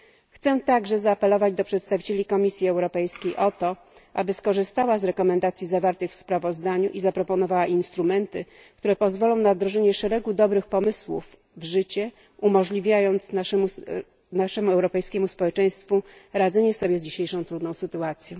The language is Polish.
Chciałabym także zaapelować do przedstawicieli Komisji Europejskiej o to, aby skorzystała z rekomendacji zawartych w sprawozdaniu i zaproponowała instrumenty, które pozwolą na wprowadzenie szeregu dobrych pomysłów w życie, umożliwiając naszemu europejskiemu społeczeństwu radzenie sobie z dzisiejszą trudną sytuacją.